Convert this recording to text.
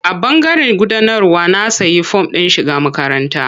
A ɓangaren gudanarwa na sayi form ɗin shiga makaranta.